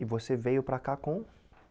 E você veio para cá com?